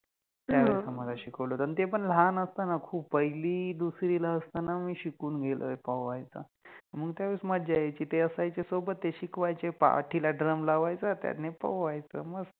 हो, त्यावेळेस आम्हाला शिकवल होत आणि ते पण लहान असताना खुप पहिलि दुसरि ला असताना मि शिकुन गेलोय पोवायचा, मंग त्यावेळेस मज्जा यायचि, ते असायचे सोबत, ते शिकवायचे, पाठिला ड्रम लावायचा त्याने पोवायच मस्त